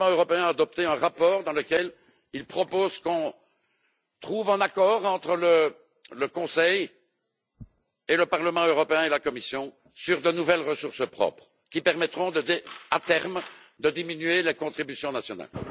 Le Parlement européen a adopté un rapport dans lequel il propose qu'on trouve un accord entre le Conseil, le Parlement européen et la Commission sur de nouvelles ressources propres qui permettront à terme de diminuer les contributions nationales.